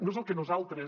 no és el que nosaltres